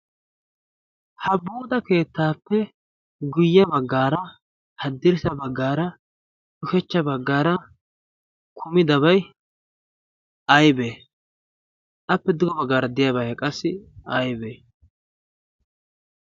ha buuxxaa keettaappe guyye baggaara, haddirssa baggaara, ushachcha baggaara kumi dabai aibee? appe duga baggaara deyaabaa qassi aibee?